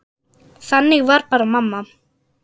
Þannig var bara mamma.